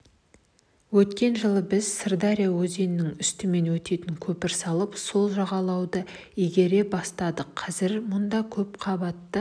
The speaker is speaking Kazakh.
өткен жылы біз сырдария өзенінің үстімен өтетін көпір салып сол жағалауды игере бастадық қазір мұнда көпқабатты